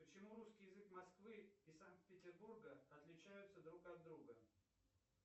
почему русский язык москвы и санкт петербурга отличаются друг от друга